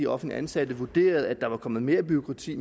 offentligt ansatte vurderede at der var kommet mere bureaukrati i